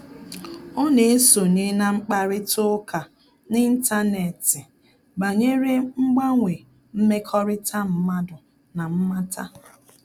Ọ́ nà-èsonye na mkparịta ụka n’ị́ntánétị̀ banyere mgbanwe mmekọrịta mmadụ na mmata.